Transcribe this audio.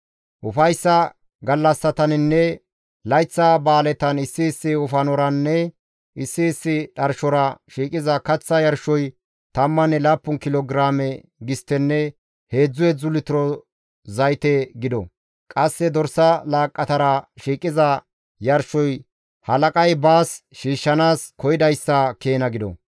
« ‹Ufayssa gallassataninne layththa ba7aaletan issi issi wofanoranne issi issi dharshora shiiqiza kaththa yarshoy tammanne laappun kilo giraame gisttenne heedzdzu heedzdzu litiro zayte gido. Qasse dorsa laaqqatara shiiqiza yarshoy halaqay baas shiishshanaas koyidayssa keena gido.